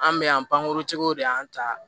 An bɛ yan pankurun tigiw de y'an ta